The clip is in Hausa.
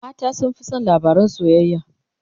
mata sun Fi San labarin soyayya